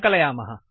सङ्कलयामः